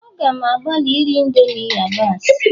A gam agbalị iri indomie yabasị